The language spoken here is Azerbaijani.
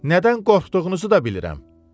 Nədən qorxduğunuzu da bilirəm.